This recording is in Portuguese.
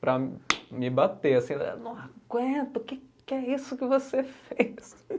para me bater, assim, não aguento, o que que é isso que você fez?